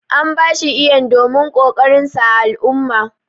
An ba shi Iyan domin kokarin sa ã al'umma.